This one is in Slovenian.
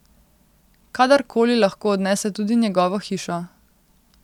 Kadar koli lahko odnese tudi njegovo hišo.